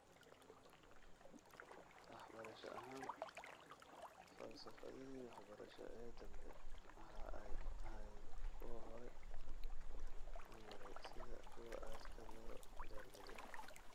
Wax barasho ahaan, falsafadihii waxbarasho ee dambe waxa ay ahaayeen kuwo hore u maray sida kuwa aadka loo door biday.